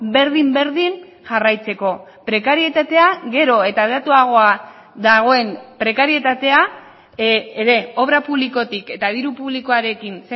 berdin berdin jarraitzeko prekarietatea gero eta hedatuagoa dagoen prekarietatea ere obra publikotik eta diru publikoarekin